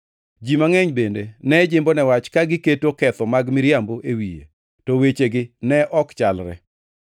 Ji mangʼeny bende ne jimbone wach ka giketo ketho mag miriambo e wiye, to wechegi ne ok chalre.